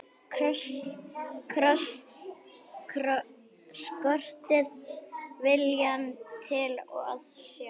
Skortir viljann til að sjá.